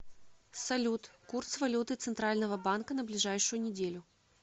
салют курс валюты центрального банка на ближайшую неделю